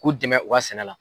K'u dɛmɛ u ka sɛnɛ la.